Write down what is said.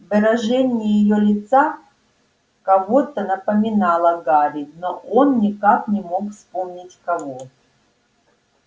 выражение её лица кого-то напоминало гарри но он никак не мог вспомнить кого